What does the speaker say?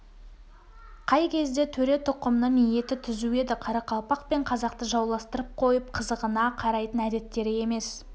қай кезде төре тұқымының ниеті түзу еді қарақалпақ пен қазақты жауластырып қойып қызығына қарайтын әдеттері емес